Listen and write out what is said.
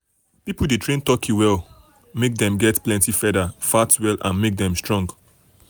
people de train turkey make dem get plenty feather fat well well and make them strong.